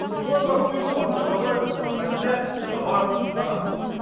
руслан бақытбекұлы бақытжан бапаев руслан ахатіллә хабар тараз